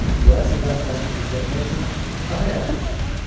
Bu əsl vəzifənizi gizlətmək üçün daha yaxşı üsul idi.